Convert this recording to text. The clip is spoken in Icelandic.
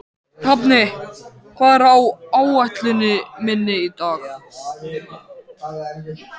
Hafni, hvað er á áætluninni minni í dag?